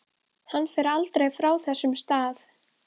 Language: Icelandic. Hann fer aldrei frá þessum stað.